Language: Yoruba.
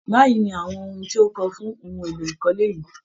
Báyìí ni awọn ohun ti kò fún ohun elo ikole yìí.